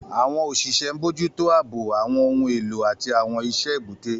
Àwọn òṣìṣẹ́ ń bójú tó ààbò, àwọn ohun èlò, àti àwọn iṣẹ́ èbúté.